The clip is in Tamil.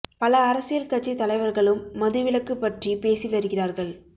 பல அரசியல் கட்சி தலைவர்களும் மது விலக்கு பற்றி பேசி வருகிறார்கள்